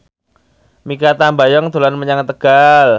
Mikha Tambayong dolan menyang Tegal